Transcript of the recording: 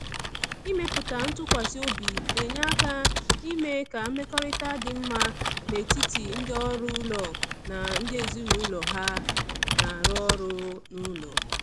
Ịmepụta ntụkwasị obi na-enye aka ime ka mmekọrịta dị mma n’etiti ndị ọrụ ụlọ na ndị ezinụlọ ha na-arụ ọrụ n’ụlọ.